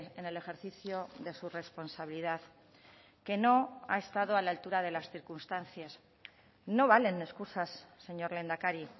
en el ejercicio de su responsabilidad que no ha estado a la altura de las circunstancias no valen excusas señor lehendakari